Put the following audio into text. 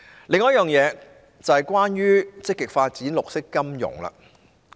另一點是關於積極發展綠色金融。